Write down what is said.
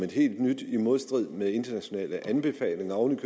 helt nyt i modstrid med internationale anbefalinger oven